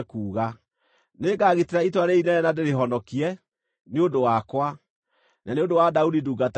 Nĩngagitĩra itũũra rĩĩrĩ inene na ndĩrĩhonokie, nĩ ũndũ wakwa, na nĩ ũndũ wa Daudi ndungata yakwa.”